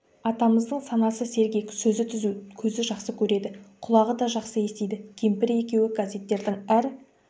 атамыздың санасы сергек сөзі түзу көзі жақсы көреді құлағы да жақсы естиді кемпірі екеуі газеттердің әр